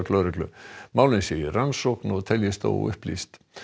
lögreglu málin séu í rannsókn og teljist óupplýst